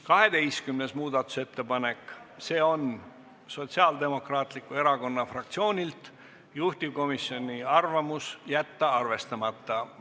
12. muudatusettepanek, see on Sotsiaaldemokraatliku Erakonna fraktsioonilt, juhtivkomisjoni arvamus: jätta arvestamata.